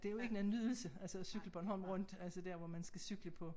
Det jo ik noget nydelse altså at cykle Bornholm rundt altså der hvor man skal cykle på